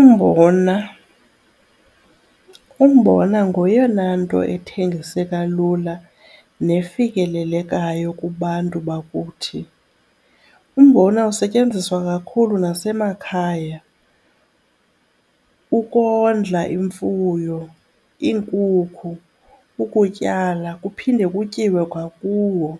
Umbona, umbona ngoyena nto ethengiseka lula nefikelelekayo kubantu bakuthi. Umbona usetyenziswa kakhulu nasemakhaya ukondla imfuyo iinkukhu, ukutyala kuphinde kutyiwe kwakuwo